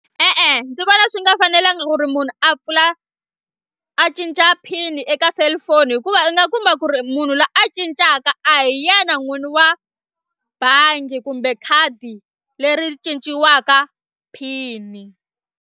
E-e ndzi vona swi nga fanelanga ku ri munhu a pfula a cinca pin eka cellphone hikuva u nga kuma ku ri munhu loyi a cincaka a hi yena n'wini wa bangi kumbe khadi leri cinciwaka pin.